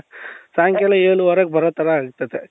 ಸಾಯಂಕಾಲ ಏಳುವರೆಗೆ ಬರೋತರ ಆಗ್ತದೆ.